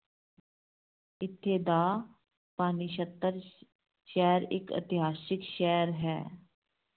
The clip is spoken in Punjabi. ਇੱਥੇ ਦਾ ਸ਼ਹਿਰ ਇੱਕ ਇਤਿਹਾਸਿਕ ਸ਼ਹਿਰ ਹੈ।